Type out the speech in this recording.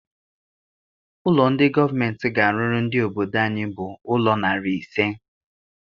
Ụlọ ndị gọọmenti ga-arụrụ ndị obodo anyị bụ ụlọ narị ise.